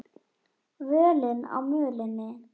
Völin á mölinni